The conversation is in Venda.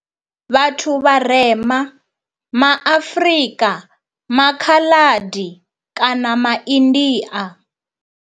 Vhathu vharema ma Afrika, ma Khaladi kana ma India.